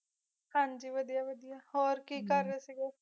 ਹਨ ਜੀ ਵਾਦੇਯਾ ਵਾਦੇਯਾ ਹੋਰ ਕੀ ਕਰ ਰਹੀ ਸੀਗੀ